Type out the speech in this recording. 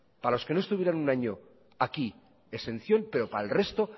para los que no estuvieran un año aquí exención pero para el resto